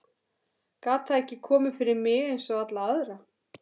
Gat það ekki komið fyrir mig einsog alla aðra?